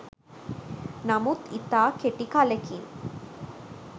නමුත් ඉතා කෙටි කලෙකින්